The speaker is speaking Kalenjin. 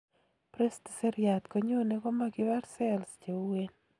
brest seriat konyone koma kipar cells cheuen